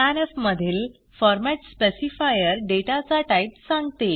scanf मधील format specifier डेटाचा type सांगते